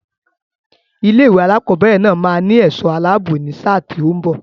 Ilé-ìwé alákọ̀ọ́bẹ̀rẹ̀ náà máa ní ẹ̀ṣọ́ aláàbò ní sáà tí ó ń bọ̀.